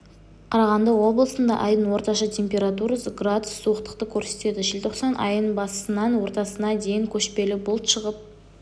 қарағанды облысында айдың орташа температурасы градус суықтықты көрсетеді желтоқсан айының басынан ортасына дейін көшпелі бұлт шығып